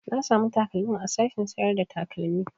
Na samu takalmin a sashen sayar da takalmi